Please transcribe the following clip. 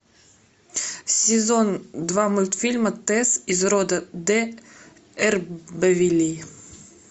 сезон два мультифильма тэсс из рода д эрбервиллей